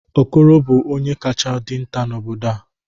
okoro bu onye kacha dinta n'obodo a